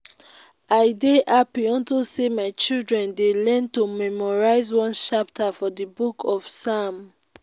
i dey happy unto say my children dey learn to memorize one chapter for the book of psalm